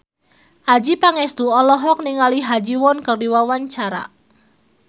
Adjie Pangestu olohok ningali Ha Ji Won keur diwawancara